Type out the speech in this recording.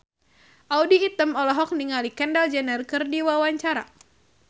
Audy Item olohok ningali Kendall Jenner keur diwawancara